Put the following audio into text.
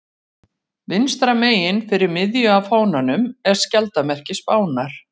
Vinstra megin fyrir miðju á fánanum er skjaldarmerki Spánar.